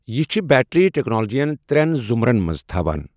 یہِ چُھ بیٹری تكنالجِین ترین ضمرن منز تھوان